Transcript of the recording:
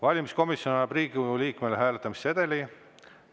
Valimiskomisjon annab Riigikogu liikmele hääletamissedeli.